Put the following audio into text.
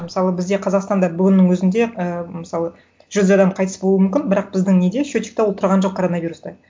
мысалы бізде қазақстанда бүгіннің өзінде ы мысалы жүз адам қайтыс болуы мүмкін бірақ біздің неде счетчикта ол тұрған жоқ коронавируста